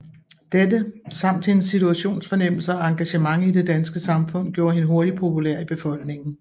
Dette samt hendes situationsfornemmelse og engagement i det danske samfund gjorde hende hurtigt populær i befolkningen